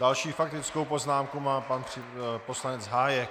Další faktickou poznámku má pan poslanec Hájek.